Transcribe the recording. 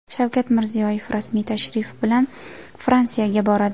Shavkat Mirziyoyev rasmiy tashrif bilan Fransiyaga boradi.